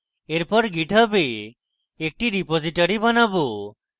এরপর github a একটি repository বানাবো